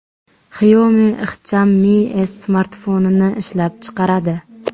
Xiaomi ixcham Mi S smartfonini ishlab chiqaradi.